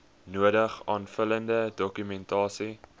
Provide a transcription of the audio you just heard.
nodige aanvullende dokumentasie